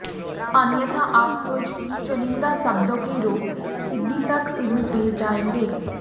अन्यथा आप कुछ चुनिंदा शब्दों के रूप सिद्धि तक सीमित रह जायेंगें